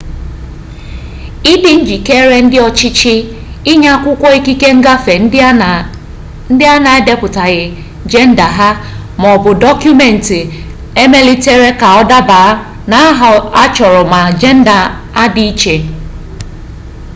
ịdị njikere ndị ọchịchị inye akwụkwọ ikike ngafe ndị a na-edepụtaghị jenda ha x maọbụ dọkụmentị emelitere ka ọ daba n’aha a chọrọ ma jenda adị iche